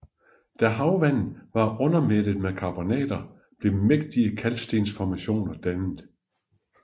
Da havvandet var undermættet med karbonater blev mægtige kalkstensformationer dannet